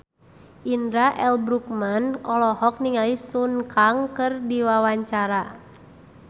Indra L. Bruggman olohok ningali Sun Kang keur diwawancara